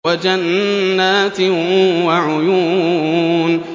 وَجَنَّاتٍ وَعُيُونٍ